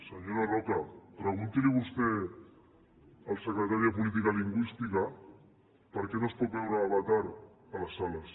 senyora roca pregunti li vostè al secretari de política lingüística per què no es pot veure avatar a les sales